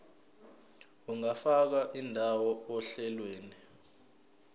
ungafaka indawo ohlelweni